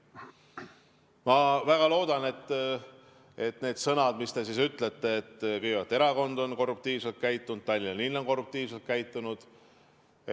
Ma väga loodan, et need sõnad, mis te ütlesite, kõigepealt, et erakond on korruptiivselt käitunud ja Tallinna linn on korruptiivselt käitunud ...